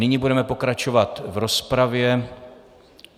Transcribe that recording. Nyní budeme pokračovat v rozpravě.